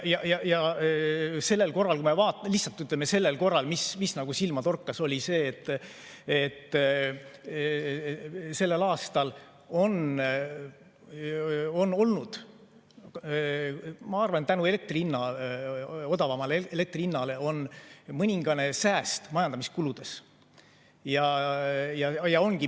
Ja kui me vaatame, mis sellel korral silma torkas, siis sellel aastal on olnud, ma arvan, tänu odavamale elektri hinnale mõningane sääst majandamiskuludes.